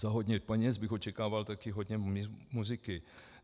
Za hodně peněz bych očekával také hodně muziky.